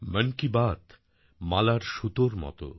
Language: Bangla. মন কি বাত মালার সুতোর মত